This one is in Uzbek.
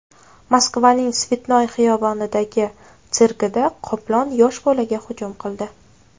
Moskvaning Svetnoy xiyobonidagi sirkida qoplon yosh bolaga hujum qildi.